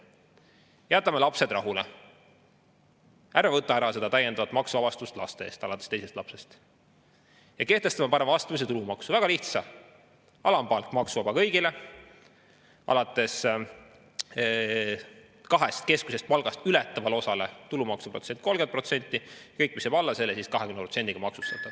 Jätame lapsed rahule, ärme võta ära seda täiendavat maksuvabastust laste eest alates teisest lapsest, ja kehtestame parem astmelise tulumaksu, väga lihtsa: alampalk maksuvaba kõigile, kaht keskmist palka ületavale osale tulumaks 30% ja kõik, mis jääb alla selle, maksustada 20%‑ga.